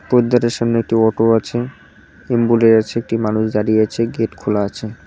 পোদ্দারের সামনে একটি অটো আছে এম্বুলে আছে একটি মানুষ দাঁড়িয়ে আছে গেট খোলা আছে।